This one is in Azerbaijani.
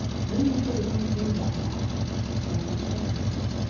Böyük ata özünü zorla ələ aldı və hiddətlə soruşdu.